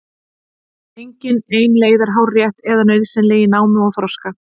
Engin ein leið er hárrétt eða nauðsynleg í námi og þroska.